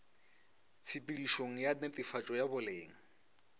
tshepedišong ya netefatšo ya boleng